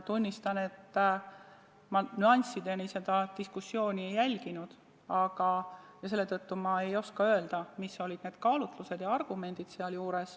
Tunnistan, et ma nüanssideni seda diskussiooni ei jälginud ja selle tõttu ei oska ma öelda, mis olid sealjuures need kaalutlused ja argumendid.